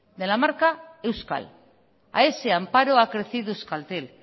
de la marca euskal a ese amparo ha crecido euskaltel